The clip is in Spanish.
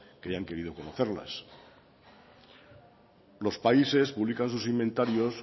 que hayan querido conocerlas los países publican sus inventarios